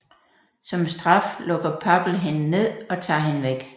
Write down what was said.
Som straf lukker Papple hende ned og tager hende væk